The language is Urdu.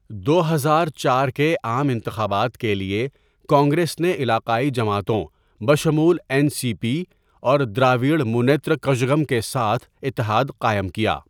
دو ہزار چار کے عام انتخابات کے لیے، کانگریس نے علاقائی جماعتوں بشمول این سی پی اور دراوڑ منیترا کژگم کے ساتھ اتحاد قائم کیا۔